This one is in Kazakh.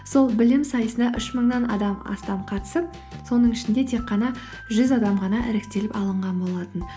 сол білім сайысында үш мыңнан адам астам қатысып соның ішінде тек қана жүз адам ғана іріктеліп алынған болатын